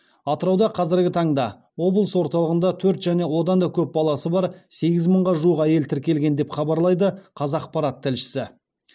атырауда қазіргі таңда облыс орталығында төрт және одан да көп баласы бар сегіз мыңға жуық әйел тіркелген деп хабарлайды қазақпарат тілшісі